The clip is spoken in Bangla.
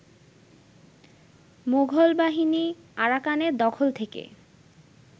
মোগলবাহিনী আরাকানের দখল থেকে